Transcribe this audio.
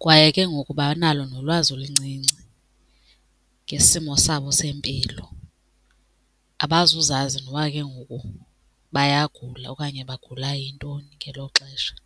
Kwaye ke ngoku banalo nolwazi oluncinci ngesimo sabo sempilo, abazuzazi noba ke ngoku bayagula okanye bagula yintoni ngelo xesha.